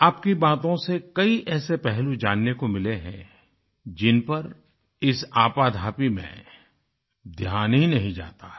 आपकी बातों से कई ऐसे पहलू जानने को मिले हैं जिनपर इस आपाधापी में ध्यान ही नहीं जाता है